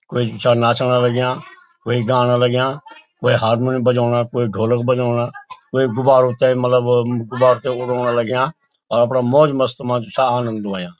कुई चा नाचण लाग्यां कुई गाणा लाग्यां कुई हारमोनियम बजोंणा कुई ढोलक बजोंणा कुई गुब्बारू ते मतलब गुब्बारु ते उडौना लाग्यां और अपणा मौज मस्त मा जु छा आनन्द हुयां।